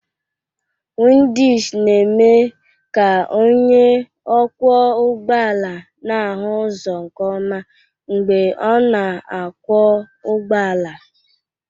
Windishid na-eme ka onye ọkwọ ụgbọala na-ahụ ụzọ nke ọma mgbe ọ na-akwọ ụgbọala.